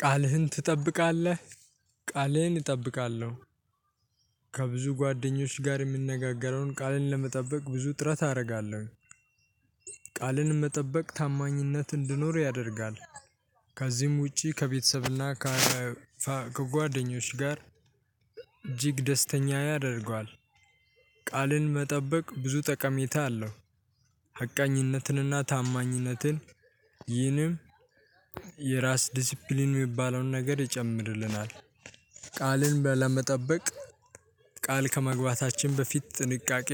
ቃልህን ትጠብቃለህ? ቃሌን እጠብቃለሁ። ከብዙ ጓደኞች ጋር የምንነጋገረውን ቃልን ለመጠበቅ ብዙ ጥረት አደርጋለሁ። መጠበቅ ታማኝነት እንድኖር ያደርጋል። ከዚህም ውጪ ከቤተሰብና ከጓደኞች ጋር እጅግ ደስተኛ ያደርገዋል። ቃልን መጠበቅ ብዙ ጠቀሜታ አለው። ሀቀኝነትንና ታማኝነትን ይህንም የራስ ዲሲፕሊን ሚባለውን ነገር ይጨምርልናል። ቃልን ለመጠበቅ ቃል ከመግባታችን በፊት ጥንቃቄ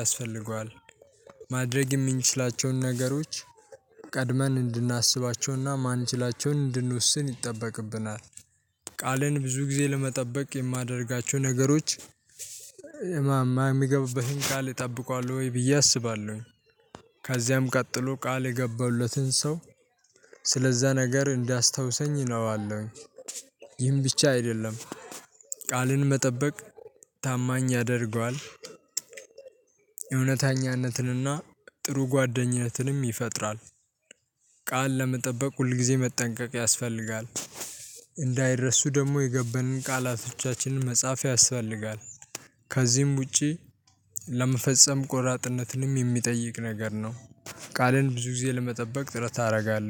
ያስፈልገዋል። ማድረግ የምንችላቸውን ነገሮች ቀድመን እንድናስባቸውና ማንችላቸውን እንድንወስን ይጠበቅብናል። ቃልን ብዙ ጊዜ ለመጠበቅ የማደርጋቸው ነገሮች እማማ የሚገቡበትን ቃል ጠብቋል ወይ ብዬ አስባለሁኝ። ከዚያም ቀጥሎ ቃል የገባሁለትን ሰው ስለዛ ነገር እንዳስታውሰኝ እለዋለሁኝ። ይህን ብቻ አይደለም ቃልን መጠበቅ ታማኝ ያደርገዋል። የእውነተኛነትንና ጥሩ ጓደኝነትንም ይፈጥራል። ቃል ለመጠበቅ ሁልጊዜ መጠንቀቅ ያስፈልጋል። ደግሞ የገበንን ቃላቶቻችንን መጽሐፍ ያስፈልጋል። ከዚህም ውጪ ለመፈጸም ቆራጥነትንም የሚጠይቅ ነገር ነው። ቃልን ብዙ ጊዜ ለመጠበቅ ጥረት ታደርጋለህ